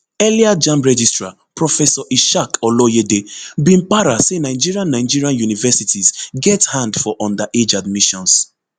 earlier jamb registrar professor ishaq oloyede bin para say nigerian nigerian universities get hand for underage admissions